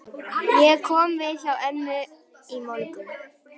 Ég kom við hjá Ernu í morgun.